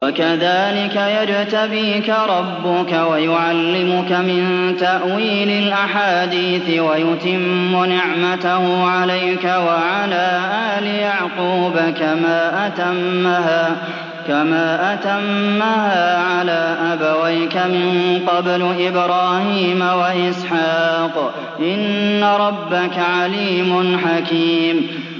وَكَذَٰلِكَ يَجْتَبِيكَ رَبُّكَ وَيُعَلِّمُكَ مِن تَأْوِيلِ الْأَحَادِيثِ وَيُتِمُّ نِعْمَتَهُ عَلَيْكَ وَعَلَىٰ آلِ يَعْقُوبَ كَمَا أَتَمَّهَا عَلَىٰ أَبَوَيْكَ مِن قَبْلُ إِبْرَاهِيمَ وَإِسْحَاقَ ۚ إِنَّ رَبَّكَ عَلِيمٌ حَكِيمٌ